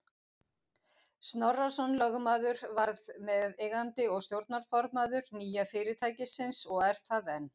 Snorrason lögmaður varð meðeigandi og stjórnarformaður nýja fyrirtækisins og er það enn.